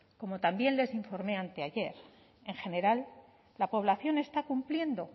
como también les informe anteayer en general la población está cumpliendo